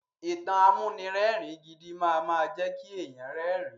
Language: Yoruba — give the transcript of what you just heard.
Ìtàn amúnirẹ́ẹ̀rin gidi máama jẹ́ kí èèyàn rẹ́rin.